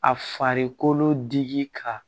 A farikolo digi ka